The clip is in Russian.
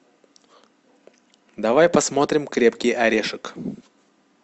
давай посмотрим крепкий орешек